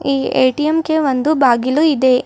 ಈ ಎ_ಟಿ_ಎಂ ಗೆ ಒಂದು ಬಾಗಿಲು ಇದೆ.